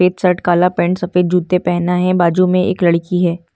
एक शर्ट काला पैंट सफ़ेद जूते पहना हैं बाजू मे एक लड़की हैं ।